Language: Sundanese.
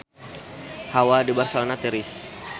Hawa di Barcelona tiris